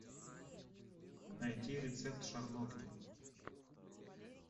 найти рецепт шарлотки